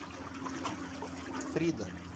фрида